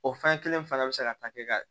O fɛn kelen fana bɛ se ka ta kɛ ka